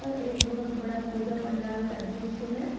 एक बहोत बड़ा पूजा पंडाल का दृश्य है।